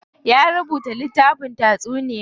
Ya rubuta littafin taysuniya.